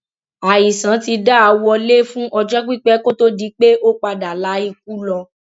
àìsàn ti dá a wọlé fún ọjọ pípẹ kó tóó di pé ó padà la ikú lọ